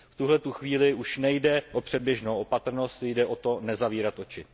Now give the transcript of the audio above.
V tuto chvíli už nejde o předběžnou opatrnost, jde o to nezavírat oči.